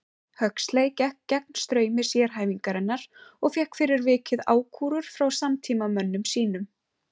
Huxley gekk gegn straumi sérhæfingarinnar og fékk fyrir vikið ákúrur frá samtímamönnum sínum.